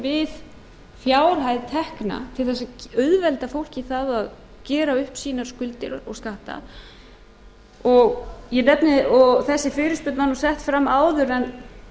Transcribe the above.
við fjárhæð tekna til þess að auðvelda fólki að gera upp sínar skuldir og skatta þessi fyrirspurn var sett fram áður en